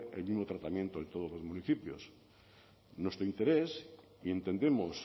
el mismo tratamiento en todos los municipios nuestro interés y entendemos